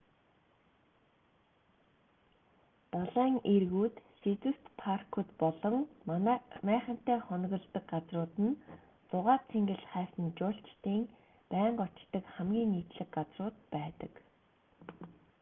далайн эргүүд сэдэвт паркууд болон майхантай хоноглодог газрууд нь зугаа цэнгэл хайсан жуулчдын байнга очдог хамгийн нийтлэг газрууд байдаг